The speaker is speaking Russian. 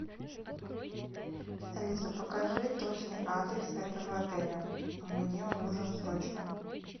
алиса покажи точный адрес этого отеля мне он нужен срочно